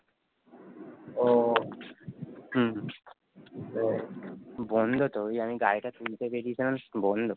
ও হম বন্দ তো জানি কারণ বন্ধ